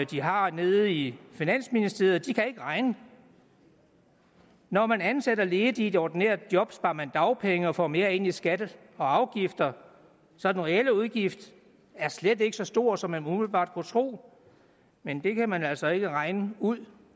de har nede i finansministeriet kan ikke regne når man ansætter ledige i et ordinært job sparer man dagpenge og får mere ind i skatter og afgifter så den reelle udgift er slet ikke så stor som man umiddelbart kunne tro men det kan man altså ikke regne ud